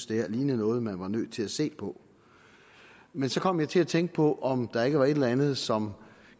det her lignede noget man var nødt til at se på men så kom jeg til at tænke på om der ikke var et eller andet som